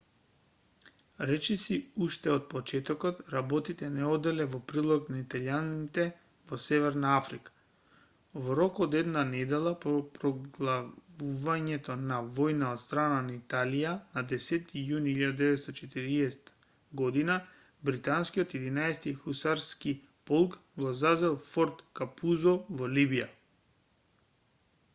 речиси уште од почетокот работите не оделе во прилог на италијаните во северна африка во рок од една недела по проглаувањето на војна од страна на италија на 10-ти јуни 1940 год британскиот 11-ти хусарски полк го зазел форт капузо во либија